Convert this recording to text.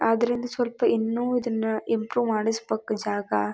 ಆದುದರಿಂದ ಸ್ವಲ್ಪ ಇನ್ನು ಇದನ್ನ ಇಂಪ್ರೂವ್ ಮಾಡಿಸ್ಬೇಕು ಜಾಗ.